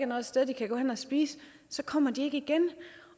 noget sted de kan gå hen at spise kommer de ikke igen